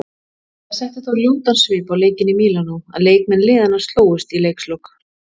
Það setti þó ljótan svip á leikinn í Mílanó að leikmenn liðanna slógust í leikslok.